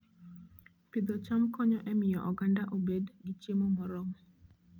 Pidho cham konyo e miyo oganda obed gi chiemo moromo